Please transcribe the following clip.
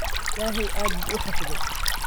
Ilaahay aad buu u xafiday.